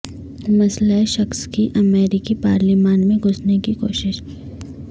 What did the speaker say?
مسلح شخص کی امریکی پارلیمان میں گھسنے کی کوشش